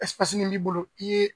nin i b'i bolo i ye